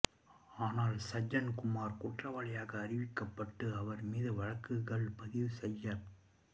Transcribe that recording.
ஆனால் சஜ்ஜன்குமார் குற்றவாளியாக அறிவிக்கப்பட்டு அவர் மீது வழக்குகள் பதிவு செய்யப்ப